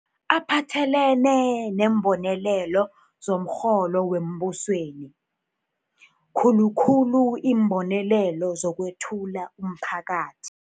aphathelene neembonelelo zomrholo wembusweni, khulu khulu iimbonelelo zokwEthula umPhakathi